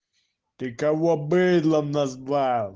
ты кого быдлом назвал